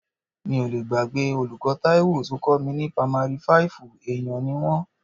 Mi ò lé gbàgbé olùkọ́ Taiwo tó kọ́ mi ní pamari fáìfù, èèyàn ni wọ́n.